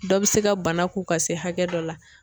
Dɔ bɛ se ka bana k'u ka se hakɛ dɔ la.